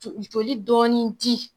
Foli dɔɔni di